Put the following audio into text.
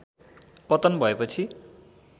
पतन भएपछि